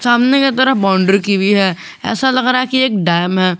सामने की तरफ बॉउंड्री की हुई है ऐसा लग रहा है कि यह एक डैम है।